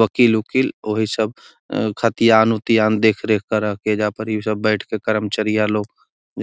वकील उकील ओहि सब खतियान उतीयान देखरेख कर हकि | ऐजा परी उ सब बैठ के कर्मचारीया लोग